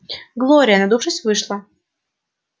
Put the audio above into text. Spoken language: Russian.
глория надувшись вышла